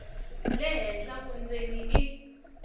le henhla vundzeni i